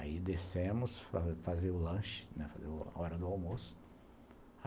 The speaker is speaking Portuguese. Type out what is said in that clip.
Aí descemos para fazer o lanche, né, a hora do almoço.